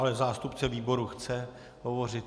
Ale zástupce výboru chce hovořit.